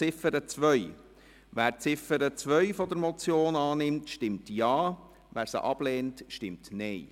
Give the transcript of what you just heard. Wer die Ziffer 2 der Motion annimmt, stimmt Ja, wer diese ablehnt, stimmt Nein.